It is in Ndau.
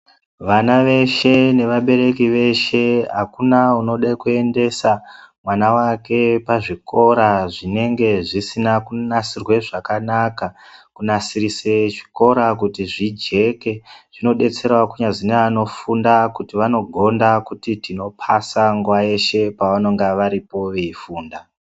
Vana veshe, nevabereki veshe akuna unode kuendesa mwana wake pazvikora zvinenge zvisina kunasirwe zvakanaka. Kunasirise chiikora kuti zvijeke zvinodetserawo kunyazi neanofunda kuti vanogonda kuti tinopasa nguwa yeshe pavanonga varipo veifunda.